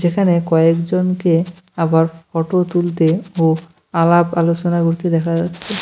এখানে কয়েকজনকে আবার ফটো তুলতে ও আলাপ আলোচনা করতে দেখা যাচ্ছে।